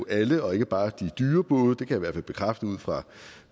alle og ikke bare de dyre både det kan hvert fald bekræfte ud fra